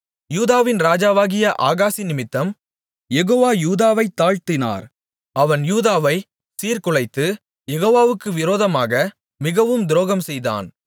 யூதாவின் ராஜாவாகிய ஆகாசினிமித்தம் யெகோவா யூதாவைத் தாழ்த்தினார் அவன் யூதாவை சீர்குலைத்து யெகோவாவுக்கு விரோதமாக மிகவும் துரோகம் செய்தான்